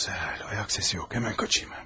Gözəl, ayaq səsi yox, həmən qaçayım mən.